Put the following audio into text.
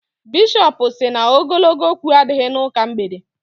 Bishọp sị na ogologo okwu adịghị n'ụka mgbede.